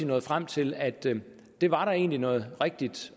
nået frem til at det det var der egentlig noget rigtigt